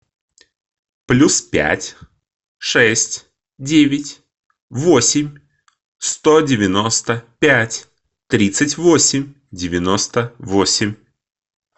плюс пять шесть девять восемь сто девяносто пять тридцать восемь девяносто восемь